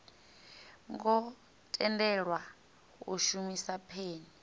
ngo tendelwa u shumisa peni